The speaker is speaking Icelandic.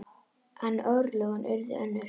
En örlögin urðu önnur.